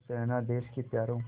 खुश रहना देश के प्यारों